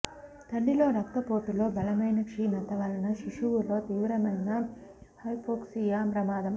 తల్లి లో రక్తపోటులో బలమైన క్షీణత వలన శిశువులో తీవ్రమైన హైపోక్సియా ప్రమాదం